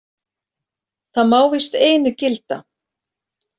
Það má víst einu gilda.